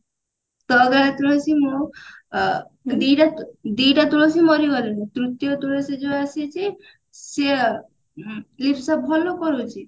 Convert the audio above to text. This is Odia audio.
ତୋ ଅଗଣାର ତୁଳସୀ ମୁଁ ଆ ଦି ଦିଟା ତୁଳସୀ ମରିଗଲେଣି ତୃତୀୟ ତୁଳସୀ ଯଉ ଆସିଛି ସିଏ ଉଁ ଲିପ୍ସା ଭଲ କରୁଛି